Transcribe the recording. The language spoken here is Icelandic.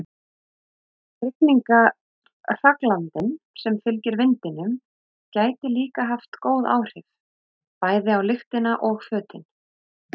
Rigningarhraglandinn sem fylgir vindinum gæti líka haft góð áhrif, bæði á lyktina og fötin.